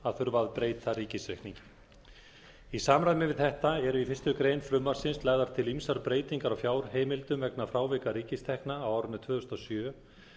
að þurfa að breyta ríkisreikningi í samræmi við þetta eru í fyrstu grein frumvarpsins lagðar til ýmsar breytingar á fjárheimildum vegna frávika ríkistekna á árinu tvö þúsund og sjö